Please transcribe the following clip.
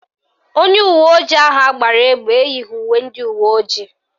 Onye uweojii ahụ agbara egbe eyighi uwe ndị uweojii